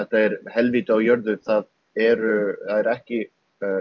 helvíti á jörðu það er ekki